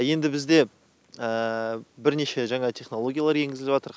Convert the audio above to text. енді бізде бірнеше жаңа технология енгізіліватырқ